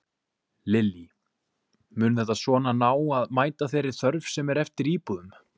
Lillý: Mun þetta svona ná að mæta þeirri þörf sem er eftir íbúðum?